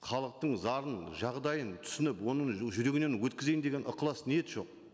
халықтың зарын жағдайын түсініп оның жүрегінен өткізейін деген ықылас ниет жоқ